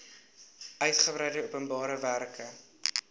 uigebreide openbare werke